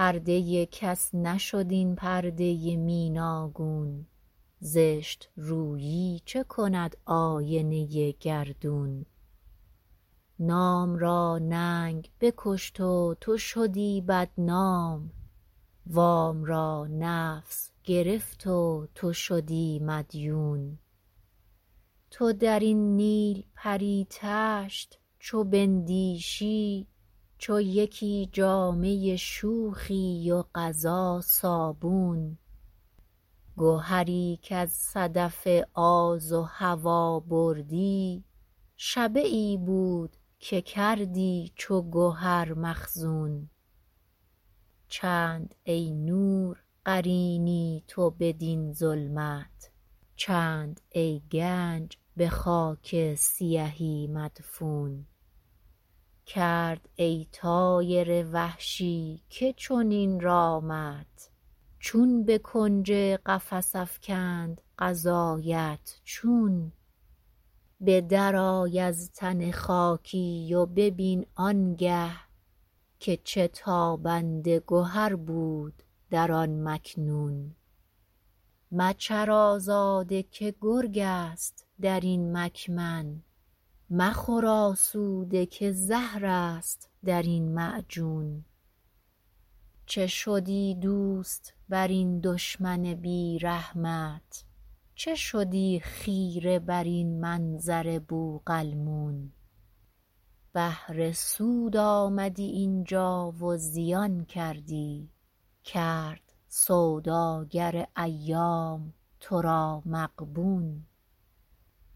پرده کس نشد این پرده میناگون زشترویی چه کند آینه گردون نام را ننگ بکشت و تو شدی بدنام وام را نفس گرفت و تو شدی مدیون تو درین نیلپری تشت چو بندیشی چو یکی جامه شوخی و قضا صابون گهری کاز صدف آز و هوی بردی شبهی بود که کردی چو گهر مخزون چند ای نور قرینی تو بدین ظلمت چند ای گنج به خاک سیهی مدفون کرد ای طایر وحشی که چنین رامت چون به کنج قفس افکند قضایت چون به در آی از تن خاکی و ببین آنگه که چه تابنده گهر بود در آن مکنون مچر آزاده که گرگ است درین مکمن مخور آسوده که زهرست درین معجون چه شدی دوست برین دشمن بیرحمت چه شدی خیره برین منظر بوقلمون بهر سود آمدی اینجا و زیان کردی کرد سوداگر ایام ترا مغبون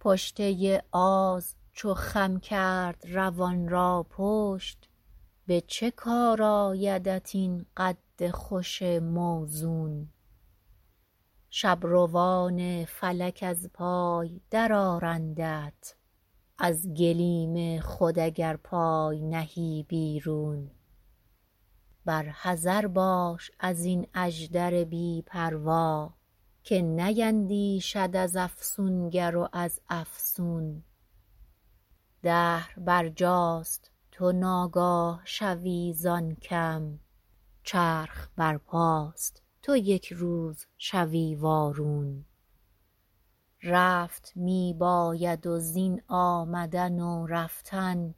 پشته آز چو خم کرد روان را پشت به چه کار آیدت این قد خوش موزون شبروان فلک از پای در آرندت از گلیم خود اگر پای نهی بیرون بر حذر باش ازین اژدر بی پروا که نیندیشد از افسونگر و از افسون دهر بر جاست تو ناگاه شوی زان کم چرخ برپاست تو یکروز شوی وارون رفت میباید و زین آمدن و رفتن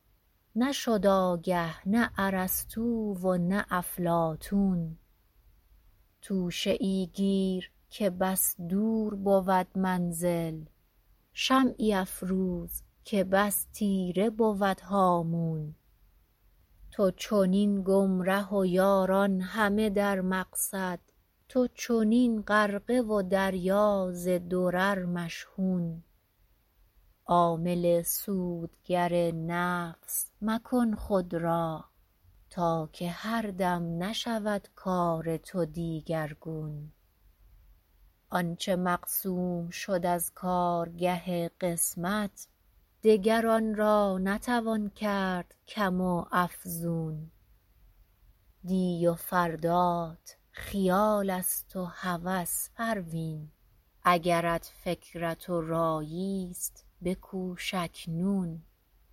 نشد آگه نه ارسطو و نه افلاطون توشه ای گیر که بس دور بود منزل شمعی افروز که بس تیره بود هامون تو چنین گمره و یاران همه در مقصد تو چنین غرقه و دریا ز درر مشحون عامل سودگر نفس مکن خود را تا که هر دم نشود کار تو دیگرگون آنچه مقسوم شد از کارگه قسمت دگر آنرا نتوان کرد کم و افزون دی و فردات خیال است و هوس پروین اگرت فکرت و رایی ست بکوش اکنون